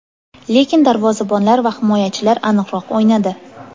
Lekin darvozabonlar va himoyachilar aniqroq o‘ynadi.